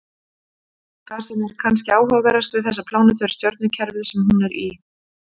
Það sem er kannski áhugaverðast við þessa plánetu er stjörnukerfið sem hún er í.